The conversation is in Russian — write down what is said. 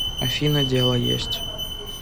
афина дело есть